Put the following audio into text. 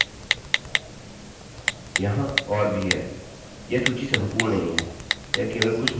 अब मैंने यहाँ पर कुछ पेज बनाएँ हैं यह कुछ एरर्स हैं जिनसे आपका सामना संभव है